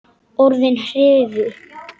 Orðin hrifu.